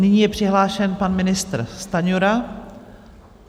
Nyní je přihlášen pan ministr Stanjura.